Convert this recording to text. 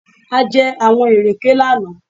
A jẹ àwọn ìrèké lánàá